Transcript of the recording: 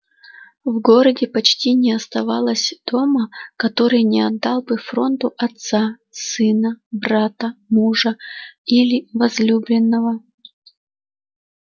в городе почти не оставалось дома который не отдал бы фронту отца сына брата мужа или возлюбленного